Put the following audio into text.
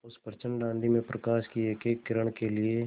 उस प्रचंड आँधी में प्रकाश की एकएक किरण के लिए